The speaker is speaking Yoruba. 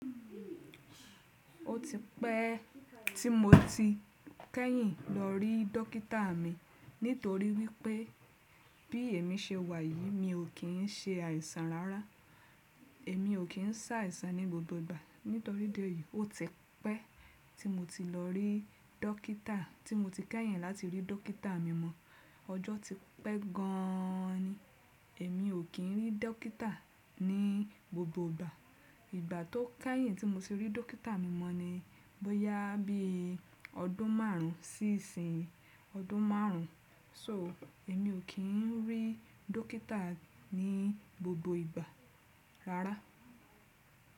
Ó ti pẹ́ tí mo ti kẹ́yìn lọ rí dọ́kítà mi nítorí wípé bí èmi ṣe wà yìí mi ò kín ṣe àìsàn rárá. Èmi ò kín sá àìsàn ní gbogbo ìgbà nítorí ìdí èyí ó tipẹ́ tí mo ti lọ rí dọ́kítà tí mo ti kẹ́yìn láti rí dọ́kítà mi mo. Ọjọ́ ti pẹ́ gan an ni. Èmi ò kín rí dọ́kítà ní gbogbo ìgbà. Ìgbà tó kẹ́yìn tí mo ti rí dọ́kítà mi mọ́ ni bọ́yá bí ọdún márùn sí ìsìn ọdún márùn. So èmi ò kín rí dọ́kítà ní gbogbo ìgbà rárá.